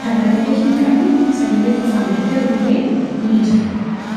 Kan ragada hin qabne, sagalee qofaan daddarbu illee ni jira.